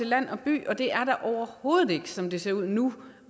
land og by og det er der overhovedet ikke som det ser ud nu